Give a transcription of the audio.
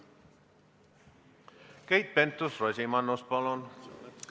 Keit Pentus-Rosimannus, palun!